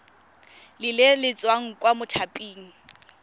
le le tswang kwa mothaping